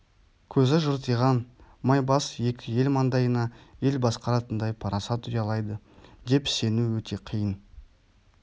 көзі жыртиған май бас екі ел маңдайына ел басқаратындай парасат ұялайды деп сену өте қиын